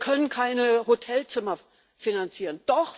Wir können keine Hotelzimmer finanzieren.